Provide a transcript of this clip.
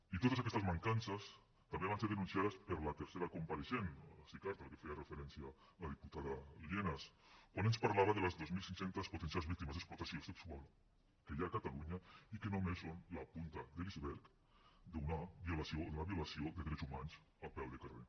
i totes aquestes mancances també van ser denunciades per la tercera compareixent sicar a la que feia referència la diputada lienas quan ens parlava de les dos mil cinc cents potencials víctimes d’explotació sexual que hi ha a catalunya i que només són la punta de l’iceberg de la violació de drets humans a peu de carrer